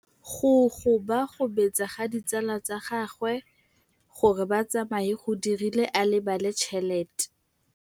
Go gobagobetsa ga ditsala tsa gagwe, gore ba tsamaye go dirile gore a lebale tšhelete.